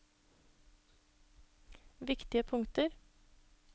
viktige punkter